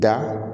Da